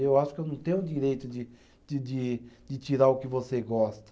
Eu acho que eu não tenho o direito de de de tirar o que você gosta.